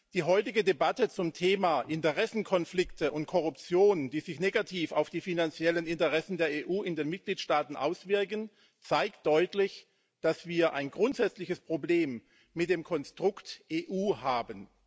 Die heutige Debatte zum Thema Interessenkonflikte und Korruption, die sich negativ auf die finanziellen Interessen der EU in den Mitgliedstaaten auswirken zeigt deutlich, dass wir ein grundsätzliches Problem mit dem Konstrukt EU haben.